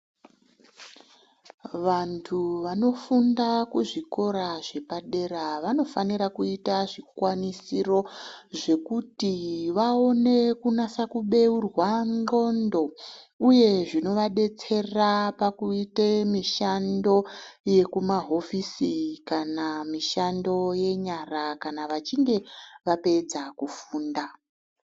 Vantu vanofunda kuzvikora zvepadera vanofanira kuita zvikwanisiro zvekuti vaone kunasa kubeurwa ndxondo uye zvino vadetsera pakuite mishando yeku mumahofisi kana vachinge vapedza mushando wenyara kana vachinge vapedza kufunda.